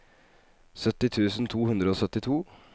sytti tusen to hundre og syttito